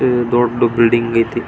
ದೊಡ್ಡ್ ಬಿಲ್ಡಿಂಗ್ ಐತೆ.